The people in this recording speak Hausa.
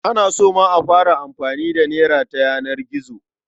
An so ma a fara amfani da nera ta yanar gizo.